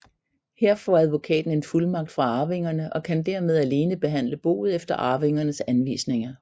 Her får advokaten en fuldmagt fra arvingerne og kan dermed alene behandle boet efter arvingernes anvisninger